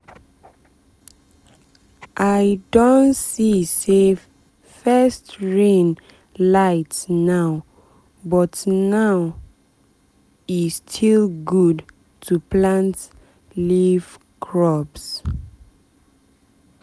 i um don see say first rain light now but now but e um still good to plant leaf crops.